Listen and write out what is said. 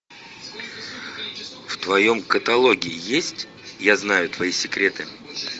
в твоем каталоге есть я знаю твои секреты